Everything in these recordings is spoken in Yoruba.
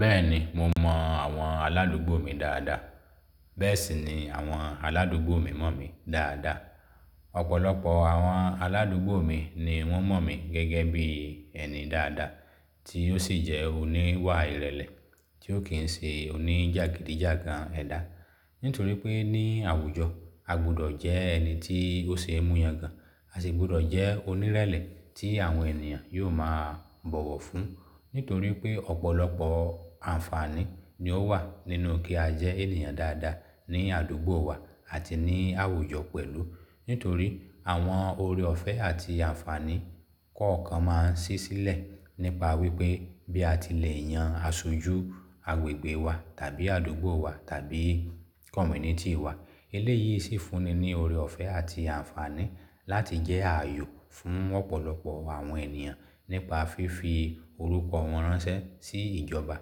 Bẹ́ẹ̀ni, mo mọ àwọn aládùúgbò mi dáadáa, bẹ́ẹ̀ sì ni àwọn aládùúgbò mi mọ̀ mi dáadáa. Ọ̀pọ̀lọpọ̀ àwọn aládùúgbò mi ni wọ́n mọ̀ mí gẹ́gẹ́ bí ẹni dáadáa tí ó sì jẹ́ oníwà ìrẹ̀lẹ̀ tí ó kì n se oníjàgídíjàgan ẹ̀dá. Nítorí pé ní àwùjọ, a gbọdọ̀ jẹ́ ẹni tí ó ṣe é mú yangàn, a sì gbọdọ̀ jẹ́ onírẹlẹ̀ tí àwọn ènìyàn yóò máa bọ̀wọ̀ fún. Nítorí pé ọ̀pọ̀lọpọ̀ àǹfààní ni ó wà nínú kí a jẹ́ ènìyàn dáadáa ní àdúgbò wa àti ní àwùjọ pẹ̀lú. Nítorí àwọn ore ọ̀fẹ́ àti àǹfààní kọ̀ọ̀kan máa ń ṣí sílẹ̀ nípa wípé bí a ti le yàn aṣojú agbègbè wa tàbí àdúgbò wa tàbí community wa. Eléyìí sì fúnni ní ore ọ̀fẹ́ àti àǹfààní láti jẹ́ àyò fún ọ̀pọ̀lọpọ̀ àwọn ènìyàn nípa fífi orúkọ wọn ránṣẹ́ sí ìjọba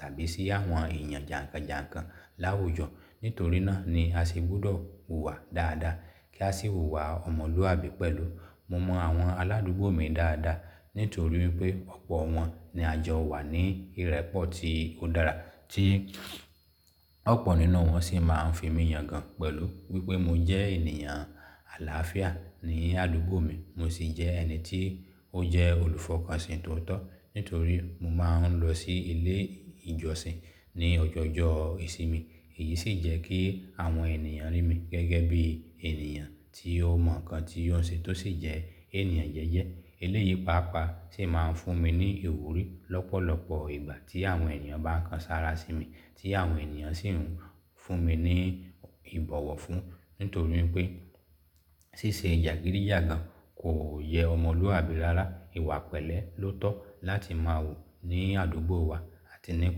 tàbí sí àwọn èèyàn jànkànjànkàn láwùjọ. Nítorí náà ni a sì gbúdọ̀ hùwà dáadáa kí a sì hùwà ọmọlúwàbí pẹ̀lú. Mo mọ àwọn aládùúgbò mi dáadáa nítorí wipé ọ̀pọ̀ wọn ni a jọ wà ní ìrẹ́pọ̀ tí ó dára tí ọ̀pọ̀ nínú wọn sì máa ń fi mí yangàn pẹ̀lú wípé mo jẹ́ ènìyàn àlàáfíà ní àdúgbò mi, mo sì jẹ́ ẹni tí ó jẹ́ olùfọkànsìn tootọ. Nítorí mo máa ń lọ sí ilé ìjọsìn ní ọjọọjọọ ìsinmi. Èyí sì jẹ́ kí àwọn ènìyàn rí mi gẹ́gẹ́ bí ènìyàn tí ó mọ̀ ǹkan tí ó ń ṣe tó sì jẹ́ ènìyàn jẹ́jẹ́. Eléyìí paapaa sì máa ń fún mi ní ìwúrí lọ́pọ̀lọpọ̀ ìgbà tí àwọn èèyàn bá kan sára sí mi tí àwọn ènìyàn sì ń fún mi ní ìbọ̀wọ̀ fún. Nítorí pé ṣíṣe jàgídíjàgan kò yẹ ọmọlúwàbí rárá. Ìwà pẹ̀lẹ́ ló tọ́ láti máa hù ní àdúgbò wa àti ní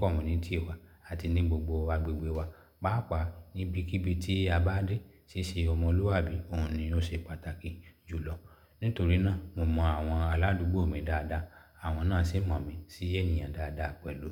community wa àti ní gbogbo agbègbè wa. Pàápàá níbikíbi tí a bá dé, ṣíṣe ọmọlúwàbí òun ni ó ṣe pàtàkì jù lọ. Nítorí náà mo mọ àwọn aládùúgbò mi dáadáa, àwọn náà sì mọ̀ mí sí ènìyàn dáadáa pẹ̀lú.